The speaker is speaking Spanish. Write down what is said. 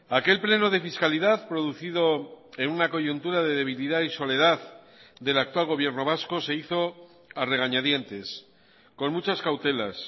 aquel pleno de fiscalidad producido en una coyuntura de debilidad y soledad del actual gobierno vasco se hizo a regañadientes con muchas cautelas